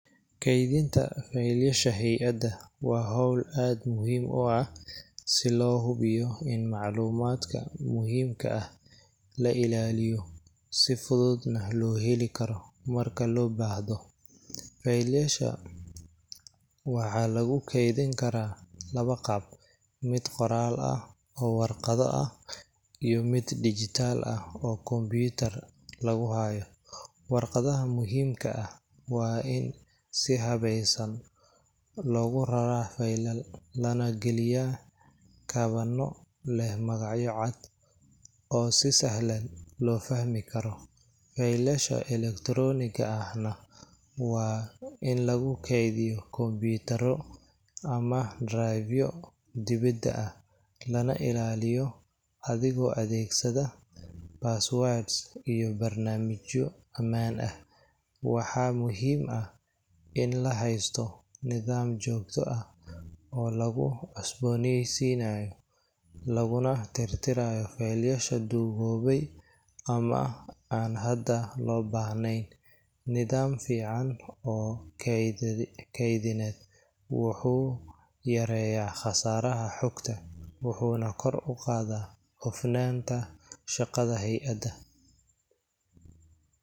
Keedinta feelasha hayada waa howl aad muhiim u ah, si loo hubiyo in macluumadka muhiimka ah la ilaaliyo, si fudud na loo heli karo marka loo baahdo, feelasha waxaa lagu keedin karaa laba qaab, mid qoraal ah oo warqado ah, iyo mid digital ah oo computer lagu haayo, warqadaha muhiimka ah waa in si habeeysan loogu raraa feelal lana galiya kabanyo leh magacyo cad oo si sahlan loo fahmi Karo, feelasha electronic ah waa in lagu keediyo computer ama drive dibada ah, lana ilaaliyo adigoo adeegsanaayo password iyo barnaamijyo amaan ah, waxaa muhiim ah in la haysto nidaam joogto ah oo lagu cusbeyniisinaayo, laguna tirtiraayo feelasha duugobe ama aan hada loo bahneen, nidaam fican oo keedineed wuxuu yareeya qasaaraha xogta wuxuuna kor uqaada hofnaanta shaqada hayada.